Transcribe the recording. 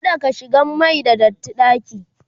kada ka shigan Mani da datti ɗaki!